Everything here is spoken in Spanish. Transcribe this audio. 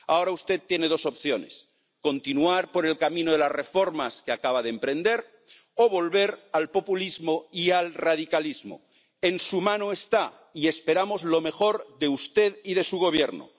Ahora usted tiene dos opciones continuar por el camino de las reformas que acaba de emprender o volver al populismo y al radicalismo. En su mano está, y esperamos lo mejor de usted y de su Gobierno.